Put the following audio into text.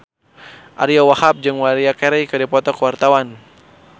Ariyo Wahab jeung Maria Carey keur dipoto ku wartawan